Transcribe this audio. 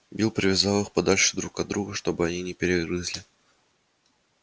билл привязал их подальше друг от друга чтобы они не перегрызли